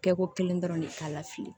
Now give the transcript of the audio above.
Kɛko kelen dɔrɔn de k'a la fili